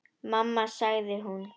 Mamma sagði hún.